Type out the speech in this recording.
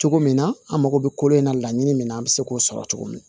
Cogo min na an mago bɛ kolo in na laɲini min na an bɛ se k'o sɔrɔ cogo min